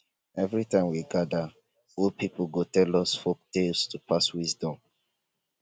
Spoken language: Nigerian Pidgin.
every time we gather old people go tell us folktales to pass wisdom